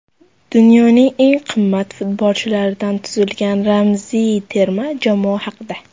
Dunyoning eng qimmat futbolchilaridan tuzilgan ramziy terma jamoa haqida.